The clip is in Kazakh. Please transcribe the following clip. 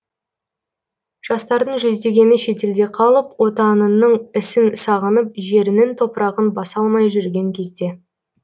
жастардың жүздегені шетелде қалып отанының ісін сағынып жерінін топырағын басалмай жүрген кезде